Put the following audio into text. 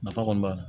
Nafa kɔni b'a la